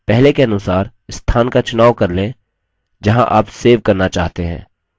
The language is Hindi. पहले के अनुसार स्थान का चुनाव कर लें जहाँ आप सेव करना चाहते हैं